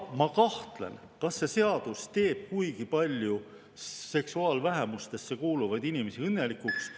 Ma kahtlen, kas see seadus teeb seksuaalvähemustesse kuuluvaid inimesi kuigipalju õnnelikuks.